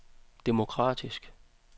demokratisk